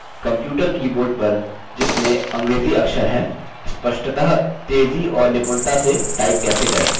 computer keyboard पर जिसमें अंग्रेज़ी अक्षर हैं स्पष्टतः तेज़ी और निपुणता से टाइप कैसे करें